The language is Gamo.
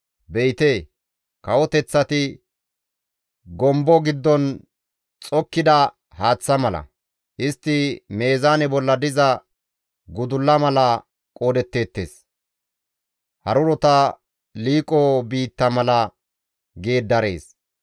Be7ite kawoteththati gombo giddon xokkida haaththa mala; istti meezaane bolla diza gudulla mala qoodetteettes; harurota liiqo biitta mala geeddarees.